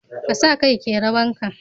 Ka sa kai kerawan ka.